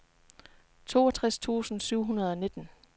toogtres tusind syv hundrede og nitten